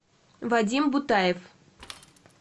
вадим бутаев